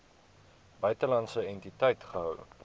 buitelandse entiteit gehou